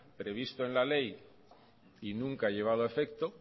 previsto en el ley y nunca llevado a efecto